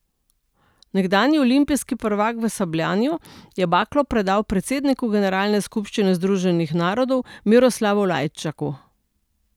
Nekdanji olimpijski prvak v sabljanju je baklo predal predsedniku generalne skupščine Združenih narodov Miroslavu Lajčaku.